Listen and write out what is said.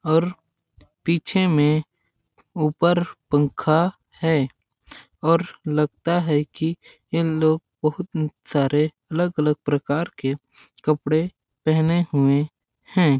और पीछे में ऊपर पंखा है और लगता है कि ये लोग बहुत सारे अलग-अलग प्रकार के कपड़े पहने हुए हैं।